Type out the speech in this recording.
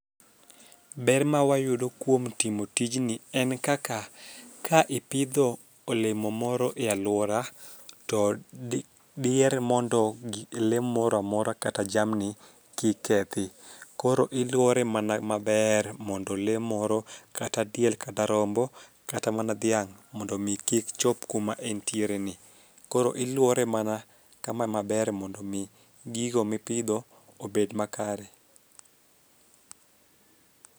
Ber ma wayudo kuom timo tijni en kaka ka ipidho olemo moro e aluora to di diher mondo gi lee moro amora kata jamni kik kethi .Koro iluore mana maber mono lee moro kata diel kata rombo kata mana dhiang' mondo mi kik chop kuma entiere ni. Koro iluore mana kama maber mondo mi gigo mipidho obed makare.